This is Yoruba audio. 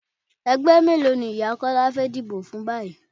Ẹgbẹ́ mélòó ni ìyá Kọ́lá fẹ́ díbó fún báyìí?